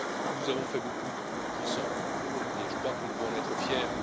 Nous avons fait beaucoup ensemble et je crois que nous devons en être fiers.